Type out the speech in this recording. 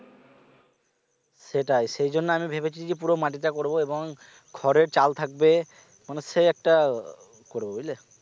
সেটাই সেই জন্যে আমি ভেবেছি যে পুরো মাটিটা করবো এবং খড়ের চাল থাকবে মনে সেই একটা করবো বুঝলে